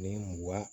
Ni mugan